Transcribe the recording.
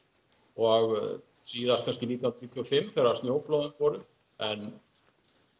og síðast kannski nítján hundruð níutíu og fimm þegar snjóflóðin fóru en